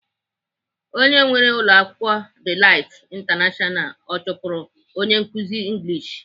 Onye nwee ụlọakwụkwọ Delight International ọ chụpụrụ onye nkụzi English?